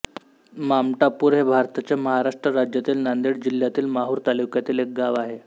मामटापूर हे भारताच्या महाराष्ट्र राज्यातील नांदेड जिल्ह्यातील माहूर तालुक्यातील एक गाव आहे